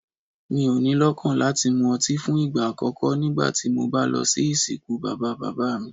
Mo ni lọ́kàn láti mu ọtí fún ìgbà àkókó nígbàtí mo bá lọ sí ìsìnkú bàbá-bàbá mi.